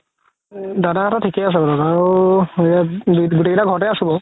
দাদা হাতৰ থিকে আছে বাৰু দাদাৰো গুতেই কেইটা ঘৰতে আছো বাৰু